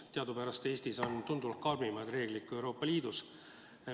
Teadupärast on Eestis tunduvalt karmimad reeglid kui Euroopa Liidus.